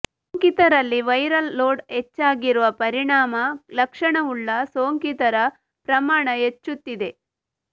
ಸೋಂಕಿತರಲ್ಲಿ viral load ಹೆಚ್ಚಾಗಿರುವ ಪರಿಣಾಮ ಲಕ್ಷಣವುಳ್ಳ ಸೋಂಕಿತರ ಪ್ರಮಾಣ ಹೆಚ್ಚುತ್ತಿದೆ